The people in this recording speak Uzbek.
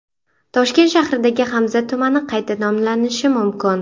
Toshkent shahridagi Hamza tumani qayta nomlanishi mumkin.